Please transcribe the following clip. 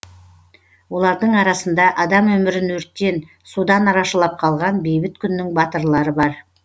олардың арасында адам өмірін өрттен судан арашалап қалған бейбіт күннің батырлары бар